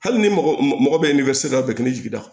Hali ni mɔgɔ bɛ ni bɛ se ka bɛnkan jigi da